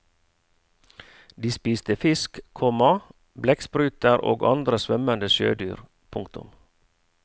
De spiste fisk, komma blekkspruter og andre svømmende sjødyr. punktum